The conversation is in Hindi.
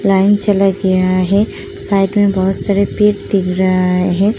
लाइन चला गया है। साइड में बहोत सारे पेड़ दिख रहा हैं।